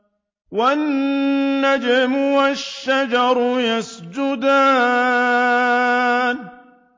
وَالنَّجْمُ وَالشَّجَرُ يَسْجُدَانِ